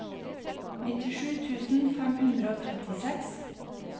nittisju tusen fem hundre og trettiseks